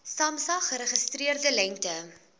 samsa geregistreerde lengte